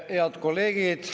Head kolleegid!